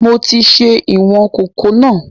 Mo ti ṣe ìwọn kòkó náà